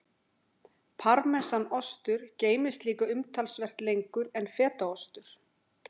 Parmesanostur geymist líka umtalsvert lengur en fetaostur.